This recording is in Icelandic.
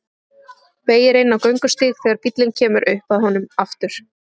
Beygir inn á göngustíg þegar bíllinn kemur upp að honum aftur.